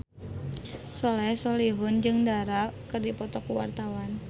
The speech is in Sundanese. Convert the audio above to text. Soleh Solihun jeung Dara keur dipoto ku wartawan